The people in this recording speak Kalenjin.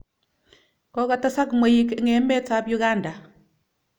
Kokotesak mweik eng' emet ap Uganda.